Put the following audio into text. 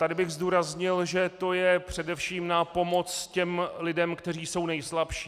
Tady bych zdůraznil, že to je především na pomoc těm lidem, kteří jsou nejslabší.